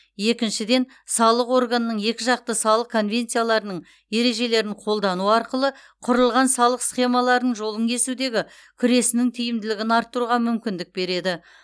екіншіден салық органдарының екіжақты салық конвенцияларының ережелерін қолдану арқылы құрылған салық схемаларының жолын кесудегі күресінің тиімділігін арттыруға мүмкіндік береді